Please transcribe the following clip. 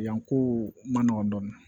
Yan ko man nɔgɔn dɔɔnin